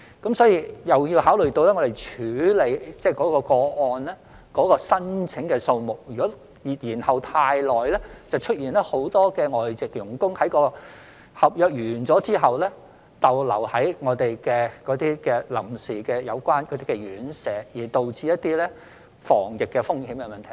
我們並要考慮到處理的個案申請數目，如果延後太久，便會出現很多外傭在合約完成後逗留在臨時院舍，因而導致防疫風險問題。